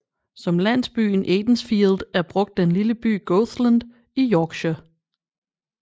Som landsbyen Aidensfield er brugt den lille by Goathland i Yorkshire